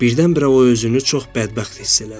Birdən-birə o özünü çox bədbəxt hiss elədi.